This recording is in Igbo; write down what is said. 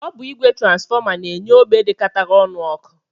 Ọ bụ ìgwè transfọma na-enye ógbè dịkọtara ọnụ ọkụ